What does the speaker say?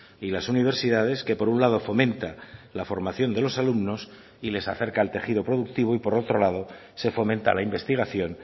y las universidades que por un lado fomenta la formación de los alumnos y les acerca el tejido productivo y por otro lado se fomenta la investigación